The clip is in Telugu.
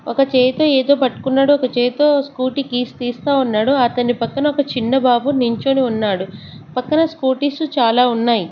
ఒక చేయితో ఏదో పట్టుకున్నాడు ఒక చేతితో స్కూటీ కీస్ తీస్తా ఉన్నాడు అతని పక్కన ఒక చిన్న బాబు నించొని ఉన్నాడు పక్కన స్కూటీస్ చాలా ఉన్నాయి.